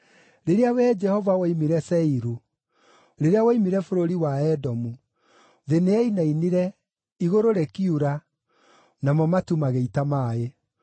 “Rĩrĩa Wee Jehova woimire Seiru, rĩrĩa woimire bũrũri wa Edomu, thĩ nĩyainainire, igũrũ rĩkiura, namo matu magĩita maaĩ.